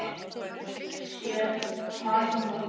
Það sér hann núna.